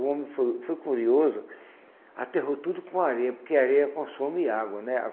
O homem foi foi curioso, aterrou tudo com a areia, porque a areia consome água, né?